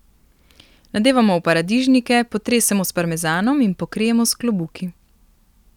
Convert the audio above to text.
Nadevamo v paradižnike, potresemo s parmezanom in pokrijemo s klobuki.